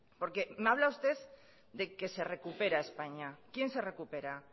porque me habla usted de que se recupera españa quién se recupera